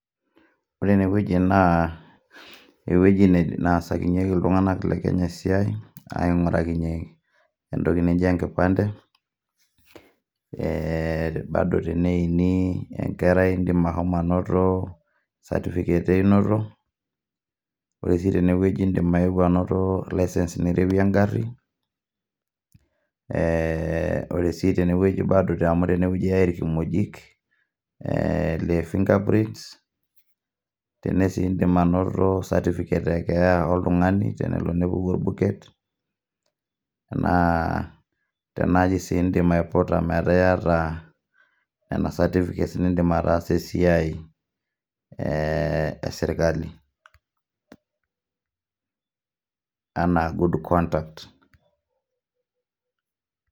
Ore ene wueji naa, ewueji naasakinyeki iltung'ana le Kenya esiai, aingorakinye entoki naji enkipande, taduo teneini enkerai indim ainoto certificate e meinoto, Kore sii tene wueji indim ainoto license nirewie engari . Ore sii teinewueji ewuoi aaya ilkimojik aa finger print naa indim ainoto certificate e keeya oltung'ani tenepuku olbuket naa tenaaji sii indim aiputa taata ena certificate niindim ataasie esiai, e serkali anaa good conduct.